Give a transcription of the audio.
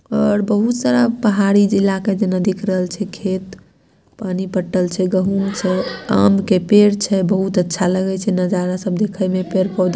और बहुत सारा पहाड़ी जिला का जना दिख रहल छ खेत पानी पटल छ गहूँ छ आम के पेड़ छ बहुत अच्छा लगे छे नजारा सब देखाई में पेड़ पौधा--